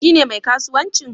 Shi ne mai kasuwancin?